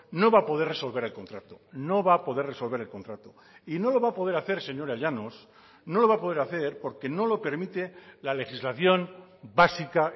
no va a poder resolver el contrato no va a poder resolver el contrato y no lo va a poder hacer señora llanos no lo va a poder hacer porque no lo permite la legislación básica